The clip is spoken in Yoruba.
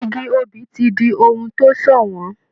Igi obì ti di ohun tó ṣọ̀wọ́n.